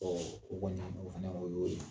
Ɔ u kɔni o fana o y'o ye